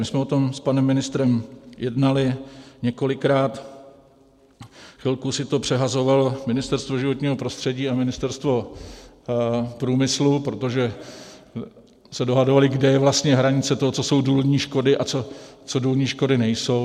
My jsme o tom s panem ministrem jednali několikrát, chvilku si to přehazovalo Ministerstvo životního prostředí a Ministerstvo průmyslu, protože se dohadovala, kde je vlastně hranice toho, co jsou důlní škody a co důlní škody nejsou.